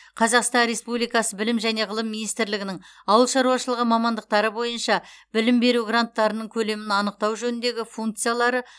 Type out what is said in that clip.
қазақстан республикасы білім және ғылым министрлігінің ауыл шаруашылығы мамандықтары бойынша білім беру гранттарының көлемін анықтау жөніндегі функциялары